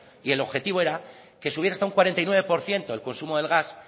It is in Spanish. y el objetivo era que subiera hasta un cuarenta y nueve por ciento el consumo del gas